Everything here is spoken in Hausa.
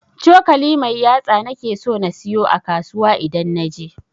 cokali mai yatsa nake so na siyo a kasuwa idan naje.